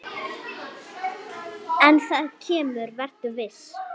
En það kemur, vertu viss.